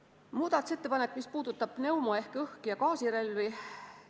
Eelnõus on muudatusettepanek, mis puudutab pneumo- ehk õhk- ja gaasirelvi.